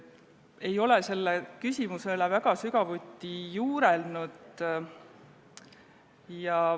Ma ei ole selle küsimuse üle sügavuti juurelnud.